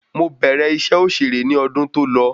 Mo bẹ̀rẹ̀ iṣẹ́ òṣèré ní ọdún tó lọ